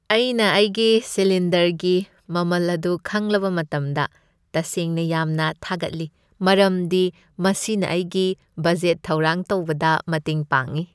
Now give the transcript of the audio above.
ꯑꯩꯅ ꯑꯩꯒꯤ ꯁꯤꯂꯤꯟꯗꯔꯒꯤ ꯃꯃꯜ ꯑꯗꯨ ꯈꯪꯂꯕ ꯃꯇꯝꯗ ꯇꯁꯦꯡꯅ ꯌꯥꯝꯅ ꯊꯥꯒꯠꯂꯤ ꯃꯔꯝꯗꯤ ꯃꯁꯤꯅ ꯑꯩꯒꯤ ꯕꯖꯦꯠ ꯊꯧꯔꯥꯡ ꯇꯧꯕꯗ ꯃꯇꯦꯡ ꯄꯥꯡꯉꯤ ꯫